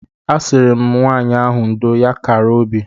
A sịrị m nwaanyị ahụ ndo; ya kara obi.